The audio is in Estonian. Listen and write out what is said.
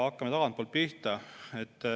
Hakkame tagantpoolt pihta.